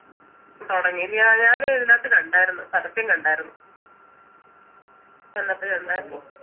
തൊടങ്ങിയല്ലെ ആഹ് ഞാൻ ഇതിനാത്ത് കണ്ടാരുന്നു പരസ്യം കണ്ടാരുന്നു അതിനത്ത് കണ്ടാർന്നു